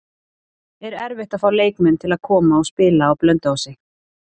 Er erfitt að fá leikmenn til að koma og spila á Blönduósi?